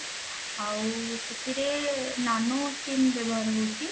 ଆଉ ସେଥିରେ nano sim ବ୍ୟବହାର ହଉଛି